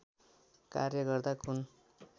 कार्य गर्दा कुन